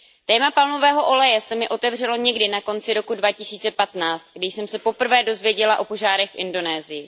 Téma palmového oleje se mi otevřelo někdy na konci roku 2015, kdy jsem se poprvé dozvěděla o požárech v Indonésii.